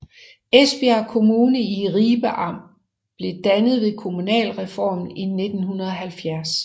Esbjerg Kommune i Ribe Amt blev dannet ved kommunalreformen i 1970